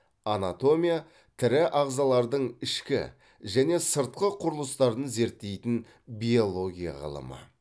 анатомия тірі ағзалардың ішкі және сыртқы құрылыстарын зерттейтін биология ғылымы